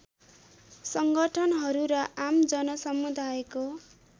सङ्गठनहरू र आम जनसमुदायको